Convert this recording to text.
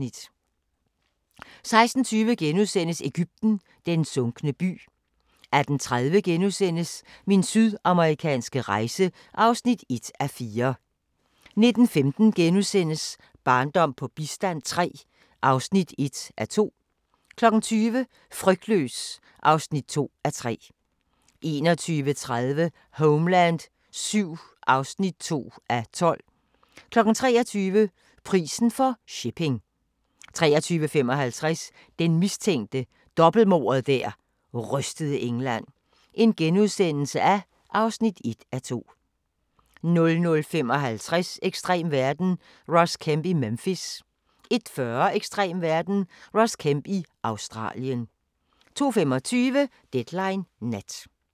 16:20: Egypten – den sunkne by * 18:30: Min sydamerikanske rejse (1:4)* 19:15: Barndom på bistand III (1:2)* 20:00: Frygtløs (2:3) 21:30: Homeland VII (2:12) 23:00: Prisen for shipping 23:55: Den mistænke – dobbeltmordet der rystede England (1:2)* 00:55: Ekstrem verden – Ross Kemp i Memphis 01:40: Ekstrem verden – Ross Kemp i Australien 02:25: Deadline Nat